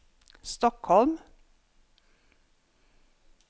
Stockholm